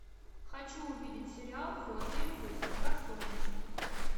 хочу увидеть сериал в филадельфии всегда солнечно